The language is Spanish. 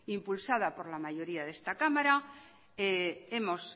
impulsado por la mayoría de esta cámara hemos